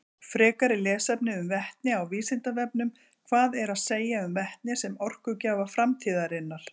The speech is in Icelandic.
Frekara lesefni um vetni á Vísindavefnum: Hvað er að segja um vetni sem orkugjafa framtíðarinnar?